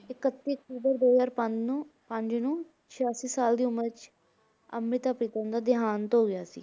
ਇਕੱਤੀ ਅਕਤੂਬਰ ਦੋ ਹਜ਼ਾਰ ਪੰਜ ਨੂੰ ਪੰਜ ਨੂੰ ਛਿਆਸੀ ਸਾਲ ਦੀ ਉਮਰ ਵਿੱਚ ਅੰਮ੍ਰਿਤਾ ਪ੍ਰੀਤਮ ਦਾ ਦਿਹਾਂਤ ਹੋ ਗਿਆ ਸੀ।